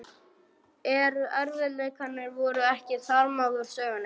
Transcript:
En erfiðleikarnir voru ekki þarmeð úr sögunni.